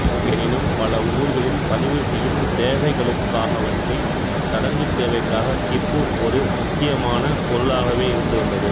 எனினும் பல ஊர்களில் பதிவு செய்யும் தேவைகளுக்காகவன்றி சடங்குத் தேவைக்காக கிப்பு ஒரு முக்கியமான பொருளாகவே இருந்து வந்தது